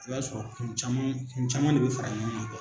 O b'a sɔrɔ kun caman kun caman de be fara ɲɔgɔn ŋa